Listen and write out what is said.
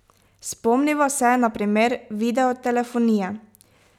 Spomniva se, na primer, videotelefonije.